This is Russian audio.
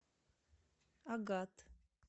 агат